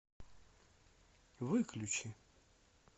выключи